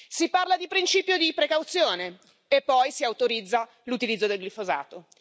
Si parla di principio di precauzione e poi si autorizza l'utilizzo del glifosato.